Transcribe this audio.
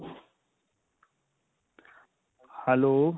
hello.